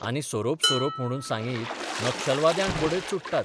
आनी सोरोप सोरोप म्हणून सांगीत नक्षलवाद्यांक बडयत सुट्टात.